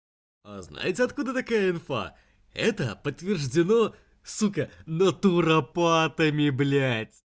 а знаете откуда такая инфа это подтверждено сука натуропатами блять